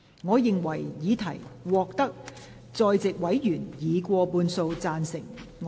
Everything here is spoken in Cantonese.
我認為議題獲得在席委員以過半數贊成。